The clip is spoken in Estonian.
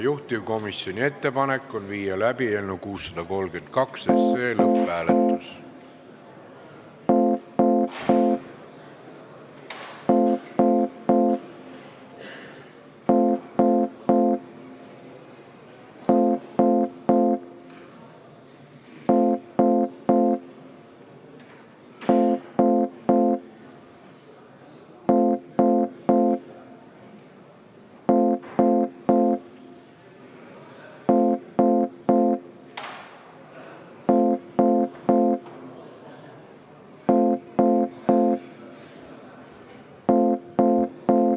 Juhtivkomisjoni ettepanek on panna eelnõu 632 lõpphääletusele.